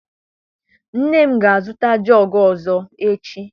Nne m ga a zụta jọgu ọzọ echi.